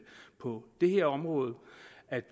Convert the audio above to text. på det her område